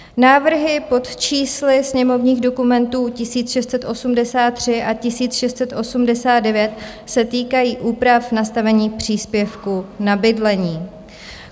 Návrhy pod čísly sněmovních dokumentů 1683 a 1689 se týkají úprav nastavených příspěvků na bydlení.